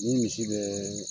Ni misi bɛɛ